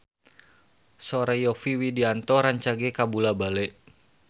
Sora Yovie Widianto rancage kabula-bale